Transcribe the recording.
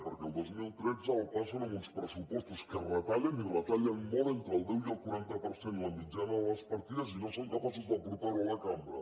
perquè el dos mil tretze el passen amb uns pressupostos que retallen i retallen molt entre el deu i el quaranta per cent la mitjana de les partides i no són capaços de portar ho a la cambra